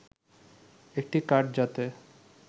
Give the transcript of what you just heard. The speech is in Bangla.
একটি কার্ড যাতে